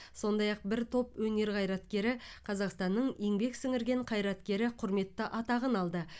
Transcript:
сондай ақ бір топ өнер қайраткері қазақстанның еңбек сіңірген қайраткері құрметті атағын алды